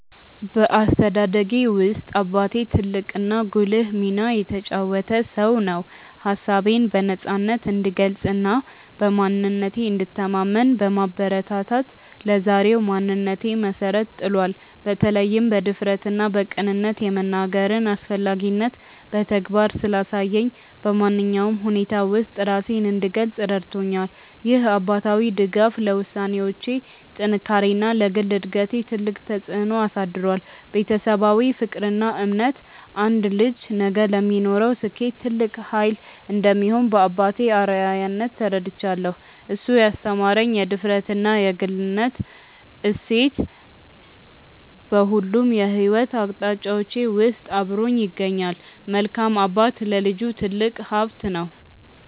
በአስተዳደጌ ውስጥ አባቴ ትልቅና ጉልህ ሚና የተጫወተ ሰው ነው። ሀሳቤን በነፃነት እንድገልጽና በማንነቴ እንድተማመን በማበረታታት ለዛሬው ማንነቴ መሰረት ጥሏል። በተለይም በድፍረትና በቅንነት የመናገርን አስፈላጊነት በተግባር ስላሳየኝ፣ በማንኛውም ሁኔታ ውስጥ ራሴን እንድገልጽ ረድቶኛል። ይህ አባታዊ ድጋፍ ለውሳኔዎቼ ጥንካሬና ለግል እድገቴ ትልቅ ተጽዕኖ አሳድሯል። ቤተሰባዊ ፍቅርና እምነት አንድ ልጅ ነገ ለሚኖረው ስኬት ትልቅ ኃይል እንደሚሆን በአባቴ አርአያነት ተረድቻለሁ። እሱ ያስተማረኝ የድፍረትና የግልነት እሴት በሁሉም የሕይወት አቅጣጫዎቼ ውስጥ አብሮኝ ይገኛል። መልካም አባት ለልጁ ትልቅ ሀብት ነው።